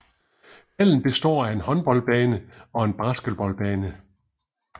Hallen består af en håndboldbane og en basketballbane